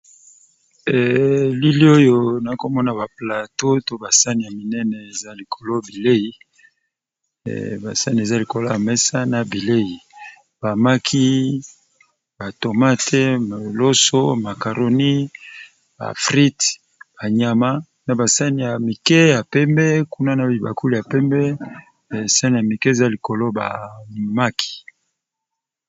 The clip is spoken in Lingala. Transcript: lili oyo na komona baplateau to basani ya minene eza likolo bilei basani eza likolo ya mesa na bilei bamaki batomate moloso macaroni afrid banyama na basani ya mike ya pembe kuna na bibakuli ya pembe asani ya mike eza likolo bamaki